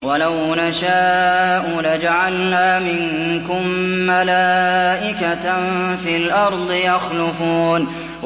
وَلَوْ نَشَاءُ لَجَعَلْنَا مِنكُم مَّلَائِكَةً فِي الْأَرْضِ يَخْلُفُونَ